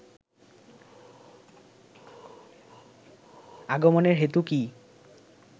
আগমনের হেতু কী